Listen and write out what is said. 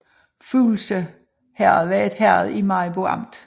Fuglse Herred var et herred i Maribo Amt